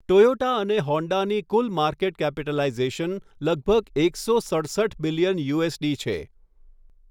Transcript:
Toyota અને હોન્ડાની કુલ માર્કેટ કેપિટલાઇઝેશન લગભગ એકસો સડસઠ બિલિયન યુએસડી છે.